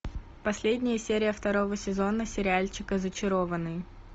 последняя серия второго сезона сериальчика зачарованные